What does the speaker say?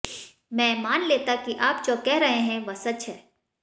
मैं मान लेता कि आप जो कह रहे हैं वह सच है